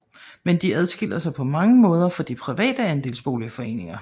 Men de adskiller sig på mange måder fra de private andelsboligforeninger